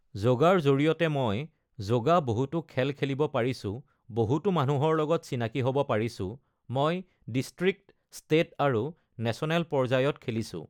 য়ৌগাৰ জড়িয়তে মই যোগা বহুতো খেল খেলিব পাৰিছোঁ বহুতো মানুহৰ লগত চিনাকী হ'ব পাৰিছোঁ মই ডিষ্ট্ৰিক্ট, ষ্টেট আৰু নেচনেল পৰ্যায়ত খেলিছোঁ।